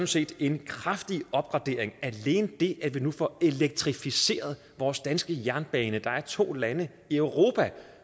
set en kraftig opgradering alene det at vi nu får elektrificeret vores danske jernbane der er to lande i europa